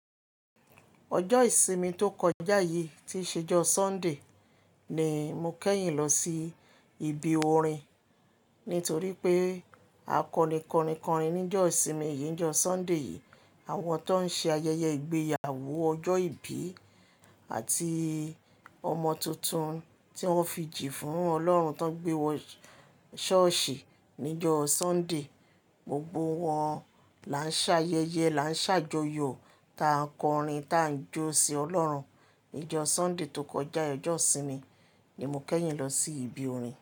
Ọjọ́ ìsinmi tó kọjá yìí tí ì ṣe ijọ Sunday ni mo kẹ́yìn lọ si ibi orin. Nítorí pé a kọni kọni kọrin ní jọọ́ ìsinmi yìí, ní jọọ́ Sunday yìí. Àwọn tó ń ṣe ayẹyẹ ìgbéyàwó, ọjọ́ ìbí àti ọmọ tuntun tí wọ́n fi jì fún Ọlọ́run, tó ń gbé wọ church ní jọọ́ Sunday. Gbogbo wọn lá ń ṣe ayẹyẹ, lá ń ṣàjòyò ta n kọrin, ta ń jọ si Ọlọ́run. Ní jọọ́ Sunday tó kọjá, Ọjọ́ ìsinmi ni mo kẹ́yìn lọ sí ibi orin.